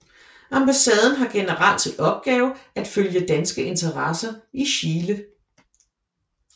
Ambassaden har generelt til opgave at følge danske interesser i Chile